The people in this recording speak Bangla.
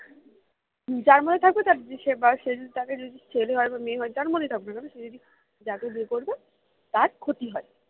যার মধ্যে থাকে তার সে বা সে যদি তাকে যদি ছেলে হয় বা মেয়ে হয় যার মধ্যে থাকুক না কেন সে যদি যাকে বিয়ে করবে তার ক্ষতি হয়